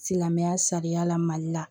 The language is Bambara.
Silamɛya sariya la mali la